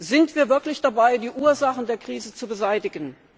Sind wir wirklich dabei, die Ursachen der Krise zu beseitigen?